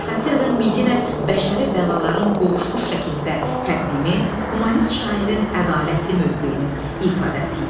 Satiradan milli və bəşəri bəlaların qovuşmuş şəkildə təqdimi, humanist şairin ədalətli mövqeyinin ifadəsi idi.